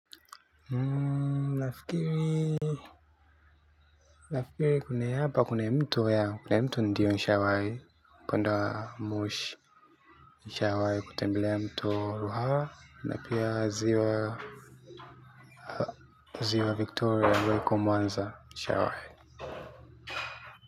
Nafikiri hapa kuna mtu nishawahi kuenda moshi nishawai kutembelea mto hawa na pia ziwa ziwa victoria welcome wanza nishawai.